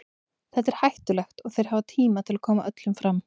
Þetta er hættulegt og þeir hafa tíma til að koma öllum fram.